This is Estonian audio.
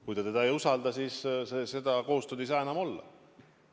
Kui ta mõnda inimest ei usalda, siis koostööd ei saa enam olla.